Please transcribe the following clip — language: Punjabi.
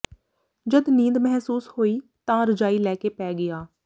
ਜਦ ਨੀਂਦ ਮਹਿਸੂਸ ਹੋਈ ਤਾਂ ਰਜਾਈ ਲੈ ਕੇ ਪੈ ਗਿਆ